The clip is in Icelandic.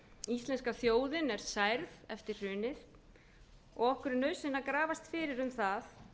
íslenska þjóðin er særð eftir hrunið og okkur er nauðsynlegt að grafast fyrir um það